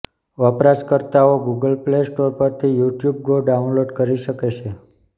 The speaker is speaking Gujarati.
વપરાશકર્તાઓ ગૂગલ પ્લે સ્ટોર પરથી યુટ્યુબ ગો ડાઉનલોડ કરી શકે છે